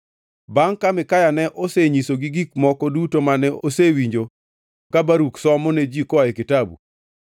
Bangʼ ka Mikaya ne osenyisogi gik moko duto mane osewinjo ka Baruk somo ne ji koa e kitabu,